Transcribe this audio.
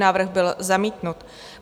Návrh byl zamítnut.